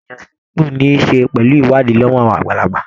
Ìyàn sípò ní ṣe pẹ̀lú ìwádìí lọ́wọ́ àwọn àgbààgbà